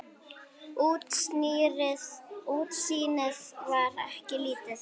Útsýnið var enn lítið.